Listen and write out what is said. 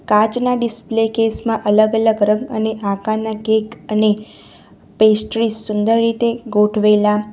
કાચના display case માં અલગ અલગ રંગ અને આકારના કેક અને પેસ્ટ્રિઝ સુંદર રીતે ગોઠવેલા --